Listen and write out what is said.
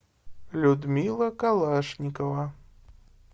людмила калашникова